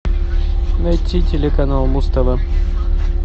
найти телеканал муз тв